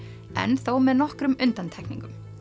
en þó með nokkrum undantekningum